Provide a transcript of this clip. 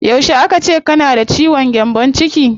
Yauce aka ce kana da ciwon gyambon ciki?